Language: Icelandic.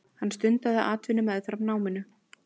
Hann stundaði atvinnu meðfram náminu.